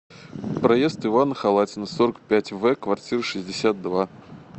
проезд ивана халатина сорок пять в квартира шестьдесят два